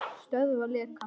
Stöðva lekann.